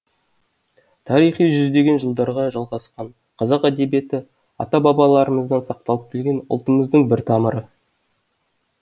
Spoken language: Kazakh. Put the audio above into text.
тарихы жүздеген жылдарға жалғасқан қазақ әдебиеті ата бабаларамыздан сақталып келген ұлтымыздың бір тамыры